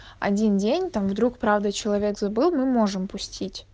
один день там вдруг правда человек забыл мы можем пустить